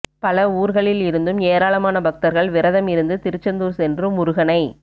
பல ஊர்களில் இருந்தும் ஏராளமான பக்தர்கள் விரதம் இருந்து திருச்செந்தூர் சென்று முருகனை